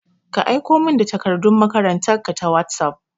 Ka aiko min da takardun makarantan ka ta wosof!